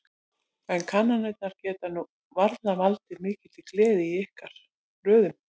En kannanir geta nú varla valdið mikilli gleði í ykkar röðum?